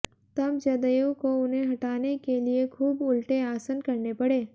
तब जदयू को उन्हें हटाने के लिए खूब उलटे आसन करने पड़े